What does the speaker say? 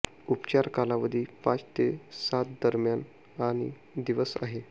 उपचार कालावधी पाच ते सात दरम्यान आणि दिवस आहे